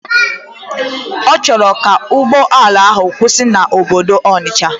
Ọchọrọ ka ugbọala ahu kwusi na obodo Onitsha.